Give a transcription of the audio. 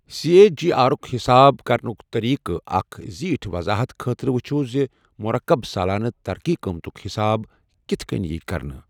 C A G آرُک حساب کرنٕک طریقٕک اکھ زِیٖٹھۍ وَضاحَت خٲطرٕ وُچھِو زِ مُرکب سالانہٕ ترقی قۭمَتُک حساب کِتھ کٮ۪ن ییہِ کرنہٕ۔